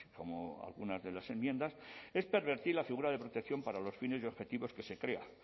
como algunas de las enmiendas es pervertir la figura de protección para los fines y objetivos que se crea